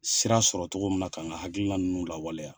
Sira sɔrɔ cogo min na ka n ka hakililna ninnu lawaleya!